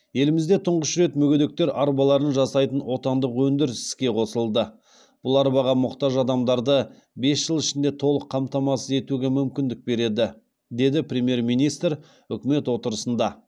елімізді тұңғыш рет мүгедектер арбаларын жасайтын отандық өндіріс іске қосылды бұл арбаға мұқтаж адамдарды бес жыл ішінде толық қамтамасыз етуге мүмкіндік береді деді премьер министр үкімет отырысында